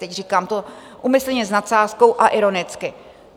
Teď to říkám úmyslně s nadsázkou a ironicky.